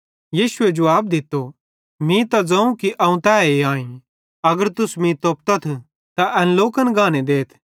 यीशुए जुवाब दित्तो मीं त ज़ोवं कि अवं तैए आईं अगर तुस मीं तोप्पतथ त एन लोकन गाने देथ